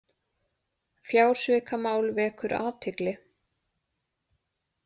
Fjársvikamál vekur athygli